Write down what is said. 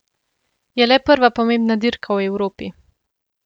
Je le prva pomembna dirka v Evropi.